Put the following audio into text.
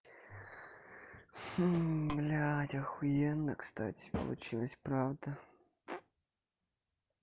блядь ахуенно кстати получилось правда